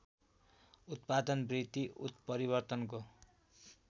उत्पादन वृद्धि उत्परिवर्तनको